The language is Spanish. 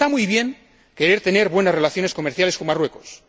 Está muy bien querer tener buenas relaciones comerciales con Marruecos.